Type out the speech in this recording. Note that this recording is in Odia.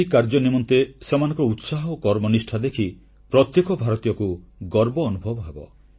ଏହି କାର୍ଯ୍ୟ ନିମନ୍ତେ ସେମାନଙ୍କର ଉତ୍ସାହ ଓ କର୍ମନିଷ୍ଠା ଦେଖି ପ୍ରତ୍ୟେକ ଭାରତୀୟକୁ ଗର୍ବ ଅନୁଭବ ହେବ